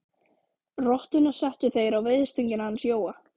Rottuna settu þeir á veiðistöngina hans Jóa.